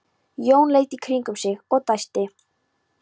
Jón leit í kringum sig og dæsti.